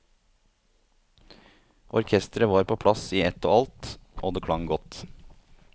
Orkestret var på plass i ett og alt, og det klang godt.